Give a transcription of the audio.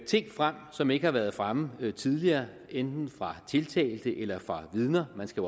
ting frem som ikke har været fremme tidligere enten fra tiltalte eller fra vidner man skal